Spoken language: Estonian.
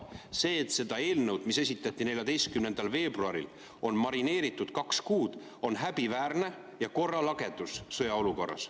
See, et seda eelnõu, mis esitati 14. veebruaril, on marineeritud kaks kuud, on häbiväärne ja korralagedus sõjaolukorras.